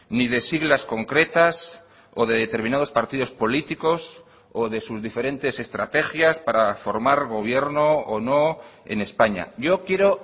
ni de siglas concretas o de determinados partidos políticos o de sus diferentes estrategias para formar gobierno o no en españa yo quiero